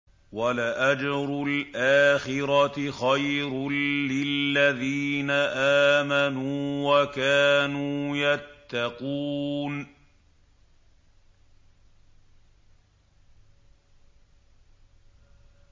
وَلَأَجْرُ الْآخِرَةِ خَيْرٌ لِّلَّذِينَ آمَنُوا وَكَانُوا يَتَّقُونَ